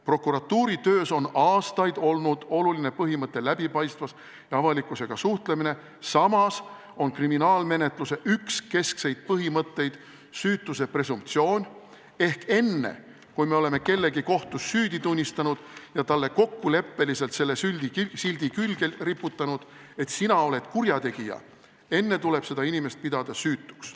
Prokuratuuri töös on aastaid olnud oluline põhimõte läbipaistvus ja avalikkusega suhtlemine, samas on kriminaalmenetluse üks keskseid põhimõtteid süütuse presumptsioon, ehk enne, kui me oleme kellegi kohtus süüdi tunnistanud ja talle kokkuleppeliselt selle sildi külge riputanud, et sina oled kurjategija, enne tuleb seda inimest pidada süütuks.